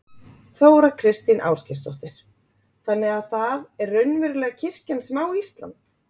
Þóra Kristín Ásgeirsdóttir: Þannig að það er raunverulega kirkjan sem á Ísland?